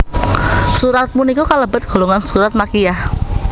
Surat punika kalebet golongan surat Makkiyah